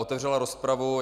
Otevřela rozpravu.